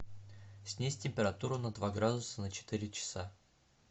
снизь температуру на два градуса на четыре часа